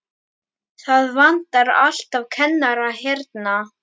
Það vantar alltaf kennara hérna.